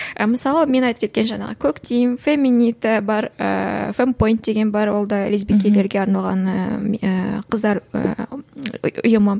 мысалы мен айтып кеткен жаңағы коктим феминита бар ыыы фемпойнд деген бар ол да лесбикелерге арналған ыыы қыздар ыыы ұйымы